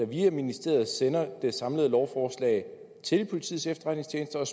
via ministeriet sender det samlede lovforslag til politiets efterretningstjeneste og